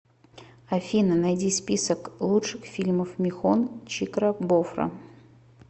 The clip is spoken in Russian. афина найди список лучших фильмов михон чикрабофра